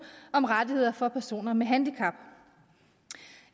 om rettigheder for personer med handicap